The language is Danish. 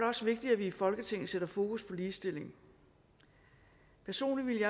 også vigtigt at vi i folketinget sætter fokus på ligestilling personligt